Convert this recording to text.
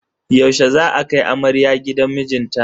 Yaushe za a kai amarya gidan mijinta?